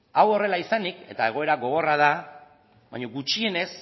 hau horrela izanik eta egoera gogorra da baino gutxienez